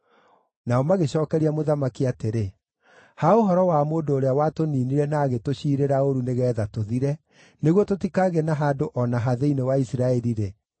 Nao magĩcookeria mũthamaki atĩrĩ, “Ha ũhoro wa mũndũ ũrĩa watũniinire na agĩtũciirĩra ũũru nĩgeetha tũthire, nĩguo tũtikagĩe na handũ o na ha thĩinĩ wa Isiraeli-rĩ,